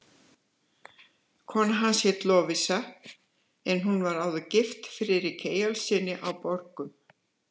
Kona hans hét Lovísa en hún var áður gift Friðriki Eyjólfssyni á Borgum.